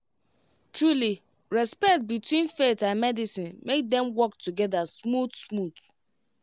trulyrespect between faith and medicine make dem work together smooth smooth